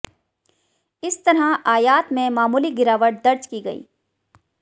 इस तरह आयात में मामूली गिरावट दर्ज की गई